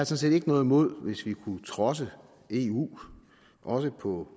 set ikke noget imod hvis vi kunne trodse eu også på